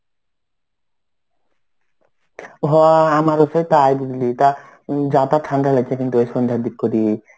হ আমার সে তাই বুঝলি তো. যাতাহ ঠান্ডা লাগছে কিন্তু ওই সন্ধ্যার দিক করে.